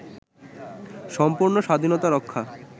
সম্পূর্ণ স্বাধীনতা-রক্ষা